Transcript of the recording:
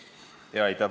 Aitäh!